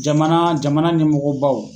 Jamana jamana nimɔgɔ baw.